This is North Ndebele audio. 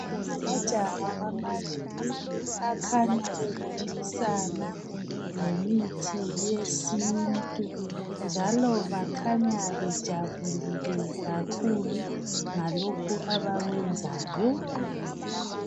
Ngamajaha amabili akhanya ebonisana ngemithi yesintu, njalo bakhanya bejabulile kakhulu ngalokho abakwenzayo.